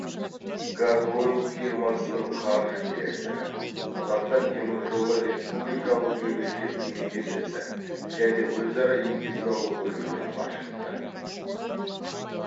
газойл фирмасының қаржы директоры қазақстан темір жолы республикалық мемлекеттік мекемесі және өзара есепке алу бөлімінің басшысы